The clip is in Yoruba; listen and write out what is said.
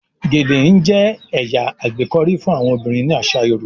gèlè n jẹ ẹya agbekọri fún àwọn obìrin ní asa yoruba.